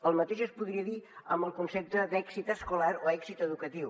el mateix es podria dir amb el concepte d’èxit escolar o èxit educatiu